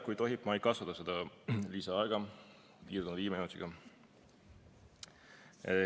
Kui tohib, ma ei kasuta seda lisaaega, piirdun viie minutiga.